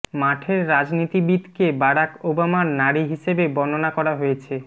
মাঠের রাজনীতিবিদকে বারাক ওবামার নারী হিসেবে বর্ণনা করা হয়েছে